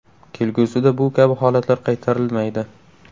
Kelgusida bu kabi holatlar qaytarilmaydi.